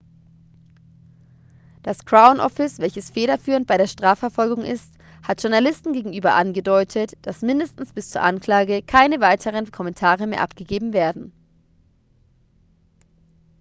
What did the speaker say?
das crown office welches federführend bei der strafverfolgung ist hat journalisten gegenüber angedeutet das mindestens bis zur anklage keine weiteren kommentare mehr abgegeben werden